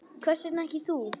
Hvers vegna ekki þú?